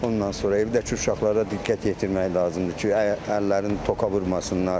Ondan sonra evdəki uşaqlara diqqət yetirmək lazımdır ki, əllərini toka vurmasınlar.